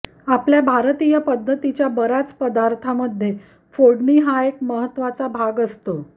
आपल्या भारतीय पद्धतीच्या बऱ्याच पदार्थामध्ये फोडणी हा एक महत्त्वाचा भाग असतो